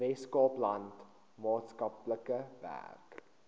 weskaapland maatskaplike werk